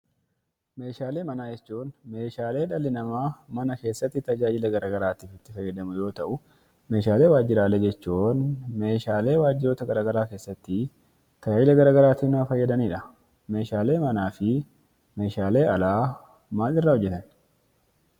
Meeshaalee manaa jechuun meeshaalee dhalli namaa mana keessatti tajaajila gara garaatiif itti fayyadamu yoo ta'u, meeshaalee waajjiraalee jechuun meeshaalee waajjiroota gara garaa keessatti tajaajila gara garaatiif nama fayyadanidha. Meeshaalee manaa fi meeshaalee alaa maal irraa hojjetamu?